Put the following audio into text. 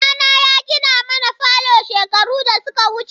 Babana ya gina mana falo shekaru da suka wuce.